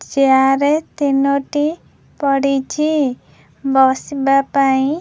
chair ତିନୋଟି ପଡ଼ିଚି ବସିବା ପାଇଁ --